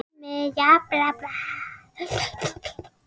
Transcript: Sumir eru ríkir, aðrir ekki.